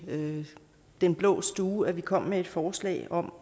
den blå stue at vi kom med et forslag om